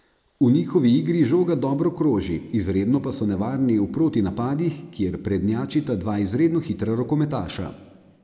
V njihovi igri žoga dobro kroži, izredno pa so nevarni v proti napadih, kjer prednjačita dva izredno hitra rokometaša.